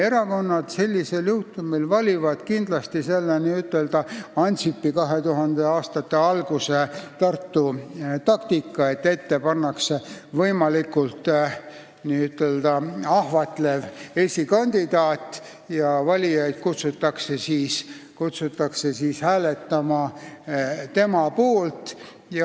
Erakonnad valivad sellisel juhul kindlasti Ansipi 2002. aasta Tartu-taktika, et nimekirjas pannakse ette võimalikult ahvatlev esikandidaat ja valijaid kutsutakse hääletama tema poolt.